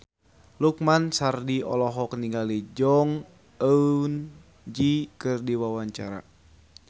Lukman Sardi olohok ningali Jong Eun Ji keur diwawancara